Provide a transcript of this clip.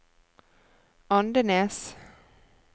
Andenes